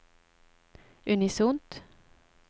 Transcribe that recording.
unisont